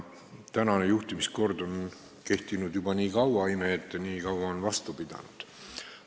Praegune juhtimiskord on kehtinud juba kaua, ime, et ta nii kaua on vastu pidanud.